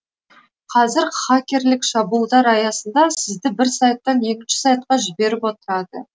қазір хакерлік шабуылдар аясында сізді бір сайттан екінші сайтқа жіберіп отырады